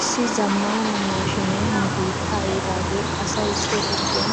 Issi zamaana maashiinee nu biittaa yiidaagee asay so giddon